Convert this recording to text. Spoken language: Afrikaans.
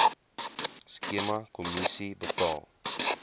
skema kommissie betaal